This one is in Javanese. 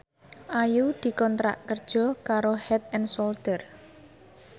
Ayu dikontrak kerja karo Head and Shoulder